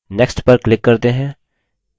next पर click करते हैं